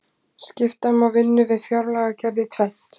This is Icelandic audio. skipta má vinnu við fjárlagagerð í tvennt